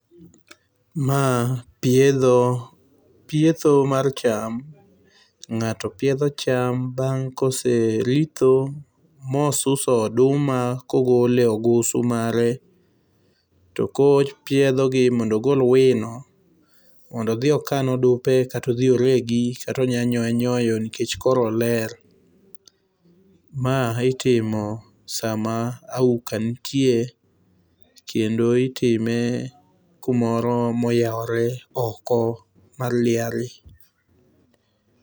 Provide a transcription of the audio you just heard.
Ma piedho, pietho mar cham. Ng'ato piedho cham bang' kose ritho mosuso oduma kogolo e ogusu mare, koro opiedhogi mondo ogol wino mondo odhi okan odumbe kata odhi oregi, kata onya nyoye nyoyo nikech koro oler. Ma itimo sama auka nitie kendo itime kumoro moyawore oko mar liare.